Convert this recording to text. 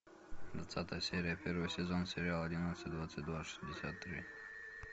двадцатая серия первый сезон сериала одиннадцать двадцать два шестьдесят три